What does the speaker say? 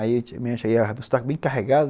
Aí o sotaque bem carregado.